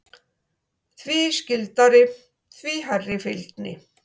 Því skyldari, því hærri fylgni.